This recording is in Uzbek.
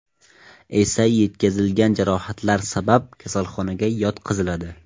esa yetkazilgan jarohatlar sabab kasalxonaga yotqiziladi.